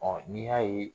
n'i y'a ye